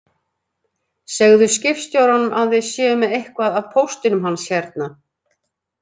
Segðu skipstjóranum að við séum með eitthvað af póstinum hans hérna